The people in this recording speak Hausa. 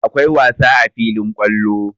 Akwai wasa a filin kwallo.